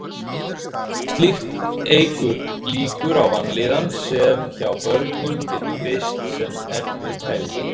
Slíkt eykur líkur á vanlíðan sem hjá börnum getur birst sem erfið hegðun.